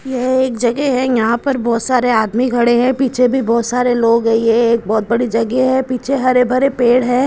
यह एक जगह है यहां पर बहुत सारे आदमी खड़े हैं पीछे भी बहुत सारे लोग है यह एक बहुत बड़ी जगह है और पीछे हरे भरे पेड़ हैं।